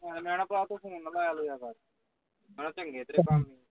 ਹੁਣ ਮੈਂ ਕਹਿਣਾ ਤੂੰ phone ਨਾ ਲਇਆ ਲੂਇਆ ਕਰ ਮੈਂ ਕਹਿਣਾ ਚੰਗੇ ਤੇਰੇ ਕੰਮ